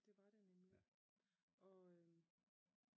Det var det nemlig og øhm